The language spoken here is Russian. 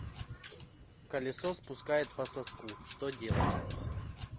колесо спускает по соску что делать